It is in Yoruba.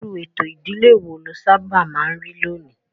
Irú ètò ìdílé wo ló sábà máa ń rí lónìí?